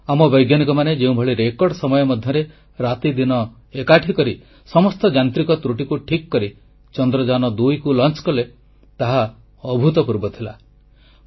ଆମ ବୈଜ୍ଞାନିକମାନେ ଯେଉଁଭଳି ରେକର୍ଡ ସମୟ ମଧ୍ୟରେ ରାତିଦିନ ଏକକରି ସମସ୍ତ ଯାନ୍ତ୍ରିକ ତ୍ରୁଟିକୁ ଠିକ କରି ଚନ୍ଦ୍ରଯାନ2 କୁ ସଫଳ କଲେ ତାହା ଅଭୂତପୂର୍ବ ଥିଲା